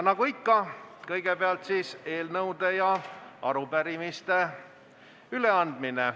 Nagu ikka, on kõigepealt võimalik üle anda eelnõusid ja arupärimisi.